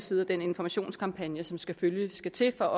side af den informationskampagne som selvfølgelig skal til for